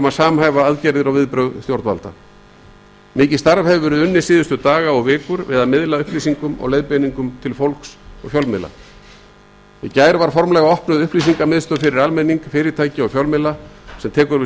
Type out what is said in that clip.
um að samhæfa aðgerðir og viðbrögð stjórnvalda mikið starf hefur verið unnið síðustu daga og vikur við að miðla upplýsingum og leiðbeiningum til fólks og fjölmiðla í gær var formlega opnuð upplýsingamiðstöð fyrir almenning fyrirtæki og fjölmiðla sem tekur við